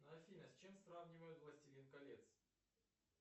афина с чем сравнивают властелин колец